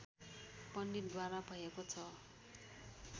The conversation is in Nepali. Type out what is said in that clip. पण्डितद्वारा भएको छ